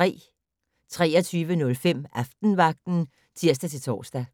23:05: Aftenvagten (tir-tor)